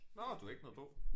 Nåh du har ikke noget på